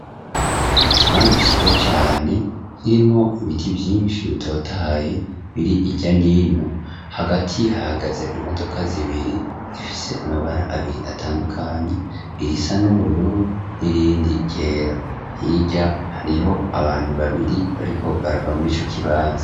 Ikibanza ciza cane hirimwo ibiti vyinshi bitotahaye biri hirya no hino hagati hahagaze imodoka zibiri zifise amabara abiri atandukanye irisa n'ubururu n'irindi ryera hirya hariho abantu babiri bariko barava muri ico kibanza.